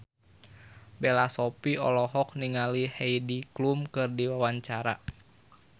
Bella Shofie olohok ningali Heidi Klum keur diwawancara